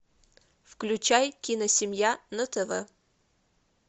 включай киносемья на тв